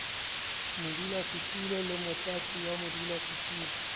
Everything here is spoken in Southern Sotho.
modulasetulo le motlatsi wa modulasetulo